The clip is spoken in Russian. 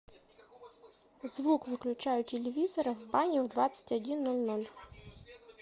звук выключай у телевизора в бане в двадцать один ноль ноль